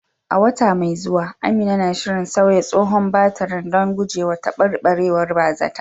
A wata mai zuwa, Amina na shirin sauya tsohon batirin don gujewa taɓarɓarewar ba zata